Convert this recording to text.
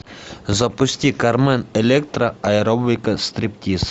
запусти кармен электра аэробика стриптиз